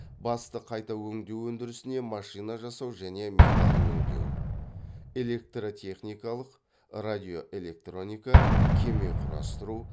басты қайта өңдеу өндірісінде машина жасау және металл өңдеу электротехникалық радиоэлектроника кеме құрастыру